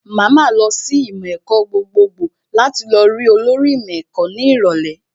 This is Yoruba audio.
Màá ma lọ sí ìmọ̀ ẹ̀kọ́ gbogbogbò láti lọ rí olórí ìmọ̀ ẹ̀kọ́ ní ìrọ̀lẹ́